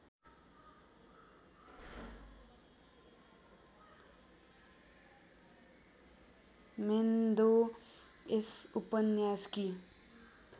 म्हेन्दो यस उपन्यासकी